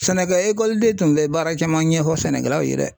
Sɛnɛkɛ tun bɛ baara camna ɲɛfɔ sɛnɛkɛlaw ye dɛ.